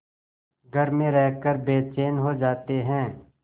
घर में रहकर बेचैन हो जाते हैं